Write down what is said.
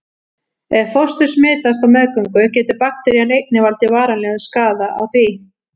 Ef fóstur smitast á meðgöngu getur bakterían einnig valdið varanlegum skaða á því.